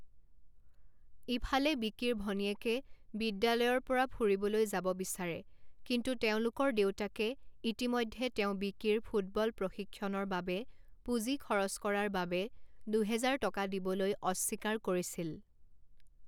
ইফালে বিকিৰ ভনীয়েকে বিদ্যালয়ৰ পৰা ফুৰিবলৈ যাব বিচাৰে কিন্তু তেওঁলোকৰ দেউতাকে ইতিমধ্যে তেওঁ বিকিৰ ফুটবল প্ৰশিক্ষণৰ বাবে পুঁজি খৰচ কৰাৰ বাবে দুহেজাৰ টকা দিবলৈ অস্বীকাৰ কৰিছিল।